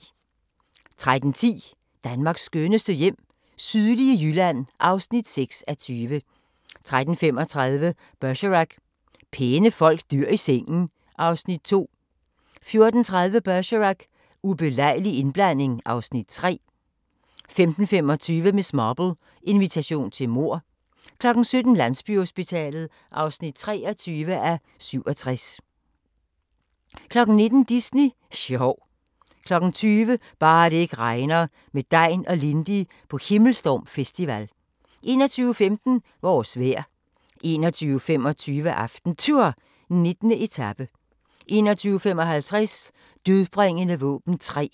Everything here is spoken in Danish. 13:10: Danmarks skønneste hjem - sydlige Jylland (6:20) 13:35: Bergerac: Pæne folk dør i sengen (Afs. 2) 14:30: Bergerac: Ubelejlig indblanding (Afs. 3) 15:25: Miss Marple: Invitation til mord 17:00: Landsbyhospitalet (23:87) 19:00: Disney sjov 20:00: Bare det ikke regner – med Degn og Lindy på Himmelstorm Festival 21:15: Vores vejr 21:25: AftenTour: 19. etape 21:55: Dødbringende våben 3